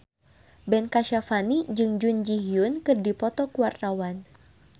Ben Kasyafani jeung Jun Ji Hyun keur dipoto ku wartawan